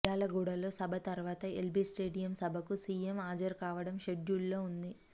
మిర్యాలగూడలో సభ తర్వాత ఎల్బీ స్టేడియం సభకు సీఎం హాజరు కావాడం షెడ్యూల్ లో ఉంది